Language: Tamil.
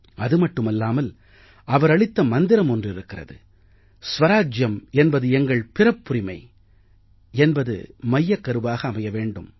அது மட்டுமில்லாமல் அவர் அளித்த மந்திரம் ஒன்று இருக்கிறது ஸ்வராஜ்யம் என்பது எங்கள் பிறப்புரிமை என்பது மையக்கருவாக அமைய வேண்டும்